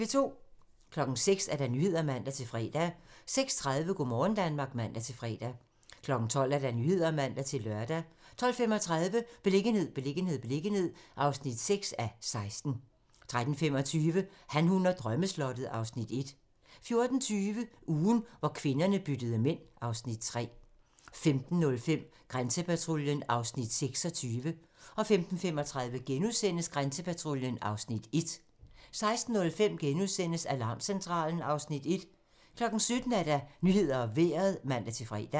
06:00: Nyhederne (man-fre) 06:30: Go' morgen Danmark (man-fre) 12:00: Nyhederne (man-lør) 12:35: Beliggenhed, beliggenhed, beliggenhed (6:16) 13:25: Han, hun og drømmeslottet (Afs. 1) 14:20: Ugen, hvor kvinderne byttede mænd (Afs. 3) 15:05: Grænsepatruljen (Afs. 26) 15:35: Grænsepatruljen (Afs. 1)* 16:05: Alarmcentralen (Afs. 1)* 17:00: Nyhederne og Vejret (man-fre)